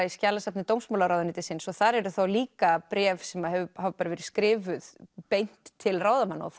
í skjalasafni dómsmálaráðuneytisins og þar eru þá líka bréf sem hafa verið skrifuð beint til ráðamanna og